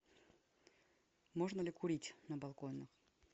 можно ли курить на балконе